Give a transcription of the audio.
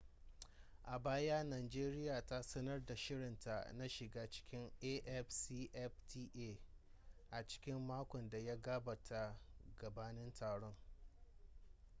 a baya najeriya ta sanar da shirinta na shiga cikin afcfta a cikin makon da ya gabata gabanin taron